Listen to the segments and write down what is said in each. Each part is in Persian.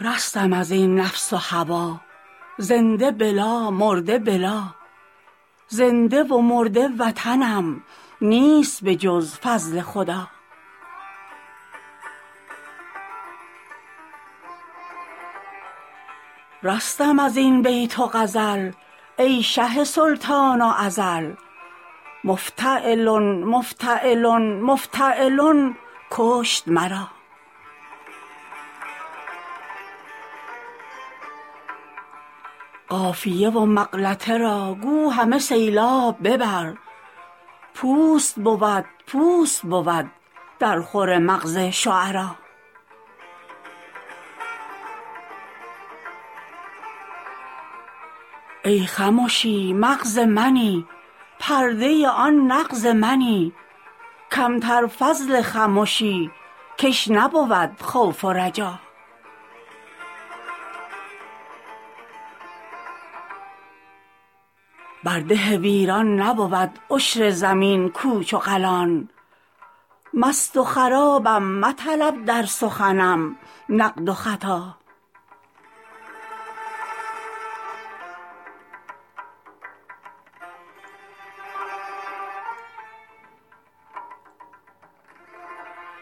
رستم از این نفس و هوا زنده بلا مرده بلا زنده و مرده وطنم نیست به جز فضل خدا رستم از این بیت و غزل ای شه و سلطان ازل مفتعلن مفتعلن مفتعلن کشت مرا قافیه و مغلطه را گو همه سیلاب ببر پوست بود پوست بود درخور مغز شعرا ای خمشی مغز منی پرده آن نغز منی کم تر فضل خمشی کش نبود خوف و رجا بر ده ویران نبود عشر زمین کوچ و قلان مست و خرابم مطلب در سخنم نقد و خطا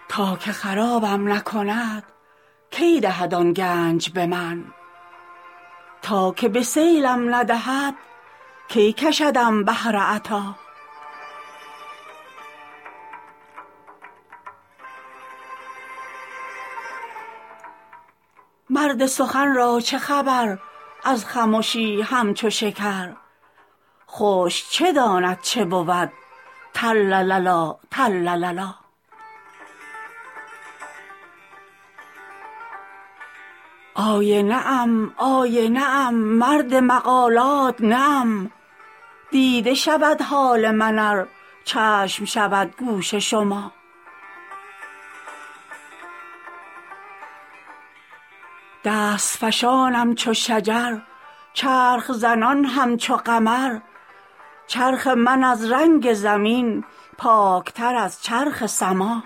تا که خرابم نکند کی دهد آن گنج به من تا که به سیلم ندهد کی کشدم بحر عطا مرد سخن را چه خبر از خمشی همچو شکر خشک چه داند چه بود ترلللا ترلللا آینه ام آینه ام مرد مقالات نه ام دیده شود حال من ار چشم شود گوش شما دست فشانم چو شجر چرخ زنان همچو قمر چرخ من از رنگ زمین پاک تر از چرخ سما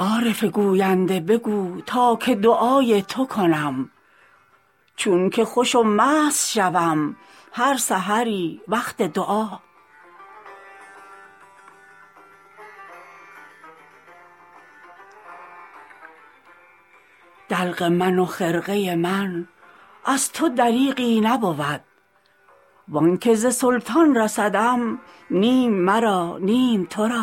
عارف گوینده بگو تا که دعای تو کنم چون که خوش و مست شوم هر سحری وقت دعا دلق من و خرقه من از تو دریغی نبود و آن که ز سلطان رسدم نیم مرا نیم تو را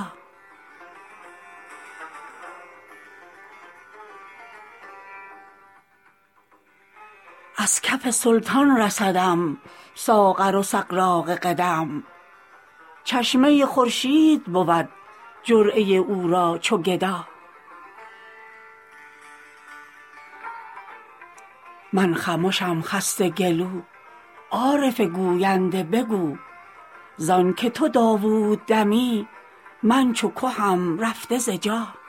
از کف سلطان رسدم ساغر و سغراق قدم چشمه خورشید بود جرعه او را چو گدا من خمشم خسته گلو عارف گوینده بگو ز آن که تو داوود دمی من چو کهم رفته ز جا